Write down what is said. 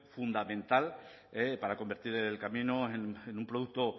fundamental para convertir el camino en un producto